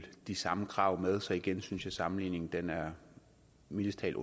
de samme krav med så igen synes jeg at sammenligningen mildest talt